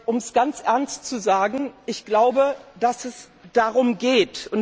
Um es ganz ernst zu sagen Ich glaube, dass es darum geht.